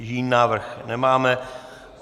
Jiný návrh nemáme.